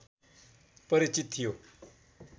परिचित थियो